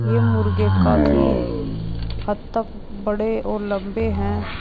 ये मुर्गे काफी हद तक बड़े और लंबे हैं।